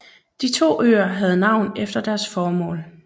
De to øer havde navn efter deres formål